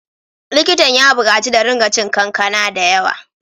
Likitan ya bukaci da ringa cin kankana da yawa.